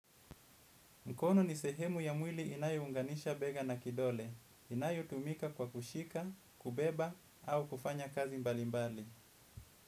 Mkono ni sehemu ya mwili inayo unganisha bega na kidole. Inayo tumika kwa kushika, kubeba, au kufanya kazi mbali mbali.